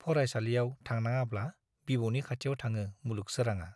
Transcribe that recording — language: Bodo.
फरायसालियाव थांनाङाब्ला बिबौनि खाथियाव थाङो मुलुग सोराङा।